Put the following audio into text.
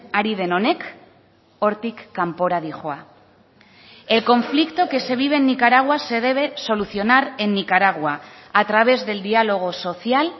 ari den honek hortik kanpora doa el conflicto que se vive en nicaragua se debe solucionar en nicaragua a través del dialogo social